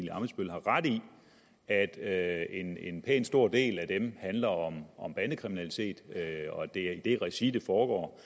har ret i at at en en pænt stor del af dem handler om om bandekriminalitet og at det er i det regi det foregår